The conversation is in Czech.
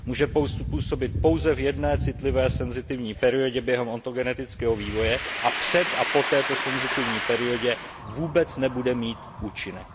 Může působit pouze v jedné citlivé, sensitivní periodě během ontogenetického vývoje a před a po této senzitivní periodě vůbec nebude mít účinek.